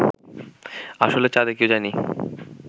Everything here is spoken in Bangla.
আসলে চাঁদে কেউ যায়নি